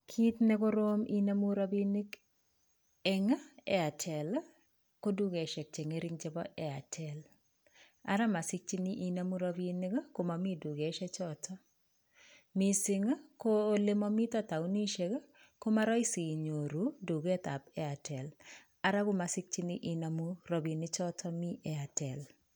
Kiit nekorom inemu rabinik ing' Airtel ko dukesiek cheng'ering' chebo Airtel ara masikchini inemu rabinik komami dukesiek chootok miising' ko olemamito taunisiek komarahisi inyoru duket ap Airtel ara komasikchini inemu rabinik chootok mi Airtel